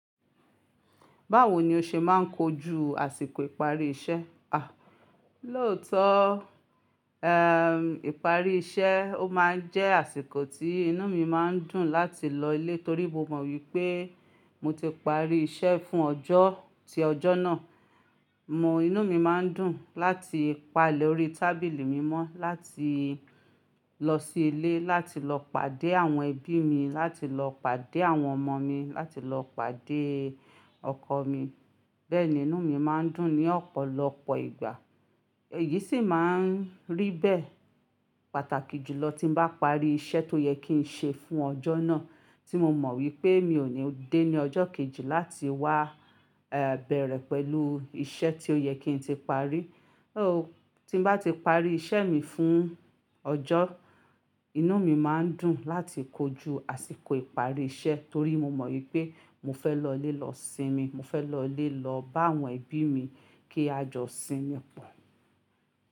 Báwo ni o ṣe máa ń kojú àsìkò ìparí iṣẹ́? Lóòótọ́, ìparí iṣẹ́ ó máa ń jẹ́ àsìkò tí inú mi máa ń dùn láti lọ ilé torí mo mọ̀ wípé mo ti parí iṣẹ́ fún ọjọ́ tí ọjọ́ náà. Inú mi máa ń dùn láti pa le órí tábìlì mi mọ́, láti lọ sí ilé, láti lọ pàdé àwọn ẹbí mi, láti lọ pàdé àwọn ọmọ mi, láti lọ pàdé ọkọ mi. Bẹ́ẹ̀ ni inú mi máa ń dùn ní ọ̀pọ̀lọpọ̀ ìgbà. Èyí sì máa ń rí bẹ́ẹ̀ pàtàkì jùlọ tí n bá parí iṣẹ́ tó yẹ kí n ṣe fún ọjọ́ náà tí mo mọ̀ wípé mi ò ní dé ní ọjọ́ kejì láti wá, bẹ̀rẹ̀ pẹ̀lú iṣẹ́ tí ó yẹ kí n ti parí. Tí n bá ti parí iṣẹ́ mi fún ọjọ́, inú mi máa ń dùn láti kojú àsìkò ìparí iṣẹ́ torí mo mọ̀ wípé mo fẹ́ lọ ilé lọ sinmi, mo fẹ́ lọ ilé lọ bá àwọn ẹbí mi kí a jọ sinmi pọ̀.